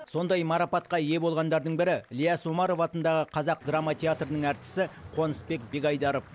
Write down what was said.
сондай марапатқа ие болғандардың бірі ілияс омаров атындағы қазақ драма театрының әртісі қонысбек бегайдаров